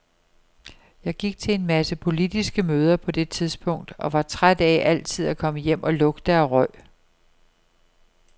Jeg gik til en masse politiske møder på det tidspunkt og var træt af altid at komme hjem og lugte af røg.